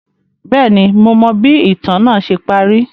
Bẹẹni, Mo mọ bi itan naa ṣe pari